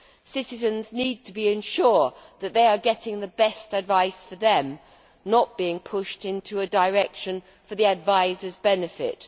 Citizens need to be sure that they are getting the best advice for them, not being pushed in a direction for the adviser's benefit.